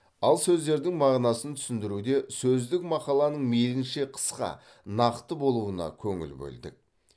ал сөздердің мағынасын түсіндіруде сөздік мақаланың мейлінше қысқа нақты болуына көңіл бөлдік